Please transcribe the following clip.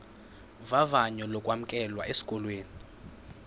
vavanyo lokwamkelwa esikolweni